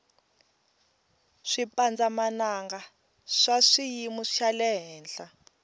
swipandza mananga swa swiyimu xalehenhla